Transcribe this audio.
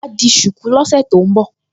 Wà á di ṣùkú lọ́sẹ̀ tó ń bọ̀